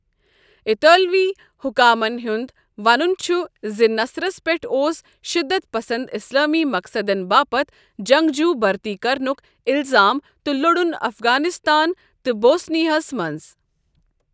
اطالوی حکامَن ہُنٛد ونُن چھُ زِ نصرَس پٮ۪ٹھ اوس شٔدت پسنٛد اسلٲمی مقصدَن باپتھ جنٛگجوٗ بٔرتی کرنُک الزام تہٕ لوٚڑُن افغانستان تہٕ بوسنیاہَس منٛز۔